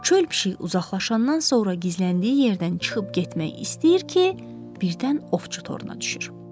Çöl pişiyi uzaqlaşandan sonra gizləndiyi yerdən çıxıb getmək istəyir ki, birdən ovçu toruna düşür.